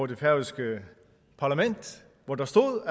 det færøske parlament hvor der stod